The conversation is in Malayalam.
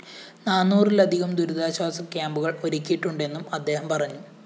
നാനൂറിലധികം ദുരിതാശ്വാസ ക്യാമ്പുകള്‍ ഒരുക്കിയിട്ടുണ്ടെന്നും അദ്ദേഹം പറഞ്ഞു